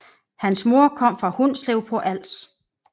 Hans mor kom fra Hundslev på Als